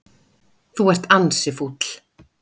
Þú ert ansi fúll.